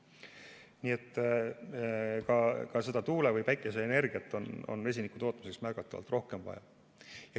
Nii et ka tuule‑ või päikeseenergiat on vesinikutootmiseks märgatavalt rohkem vaja.